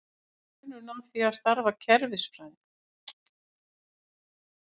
Hver er munurinn á því og starfi kerfisfræðinga?